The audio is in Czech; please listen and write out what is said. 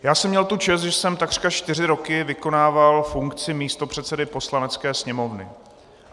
Já jsem měl tu čest, že jsem takřka čtyři roky vykonával funkci místopředsedy Poslanecké sněmovny.